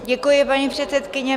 Děkuji, paní předsedkyně.